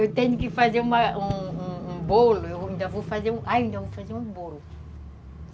Eu tenho que fazer um bolo, ainda vou fazer um bolo.